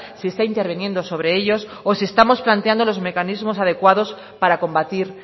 si está interviniendo sobre ellos o si estamos planteando los mecanismos adecuados para combatir